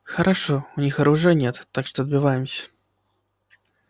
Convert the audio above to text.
хорошо у них оружия нет так что отбиваемся